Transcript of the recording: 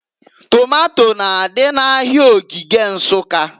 Tomato n'adị n'Ahịa Ogige Nsukka.